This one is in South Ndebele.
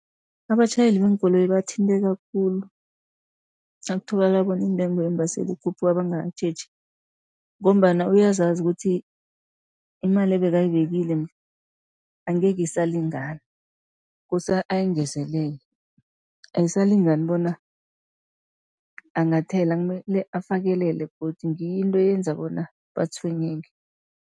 Abatjhayeli beenkoloyi bathinteka khulu, nakutholakala bona intengo yeembaseli ikhuphuka bangakatjheji., ngombana uyazazi ukuthi imali ebekayibekile angekhe isalingana, kose ayingezelele. Ayisalingani bona angathela, kumele afakelele godu, ngiyo into eyenza bona batshwenyeke.